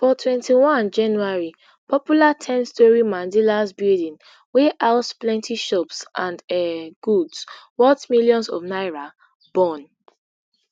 for twenty-one january popular ten storey mandilas building wey house plenty shops and um goods worth millions of naira burn